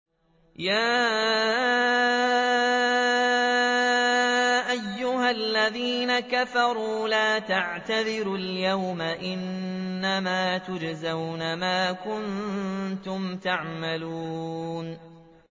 يَا أَيُّهَا الَّذِينَ كَفَرُوا لَا تَعْتَذِرُوا الْيَوْمَ ۖ إِنَّمَا تُجْزَوْنَ مَا كُنتُمْ تَعْمَلُونَ